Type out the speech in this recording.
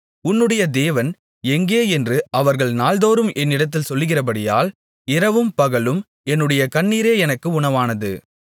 உன்னுடைய தேவன் எங்கே என்று அவர்கள் நாள்தோறும் என்னிடத்தில் சொல்லுகிறபடியால் இரவும் பகலும் என்னுடைய கண்ணீரே எனக்கு உணவானது